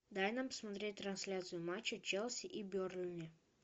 дай нам посмотреть трансляцию матча челси и бернли